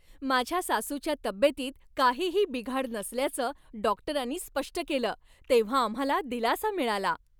माझ्या सासूच्या तब्येतीत काहीही बिघाड नसल्याचं डॉक्टरांनी स्पष्ट केलं तेव्हा आम्हाला दिलासा मिळाला.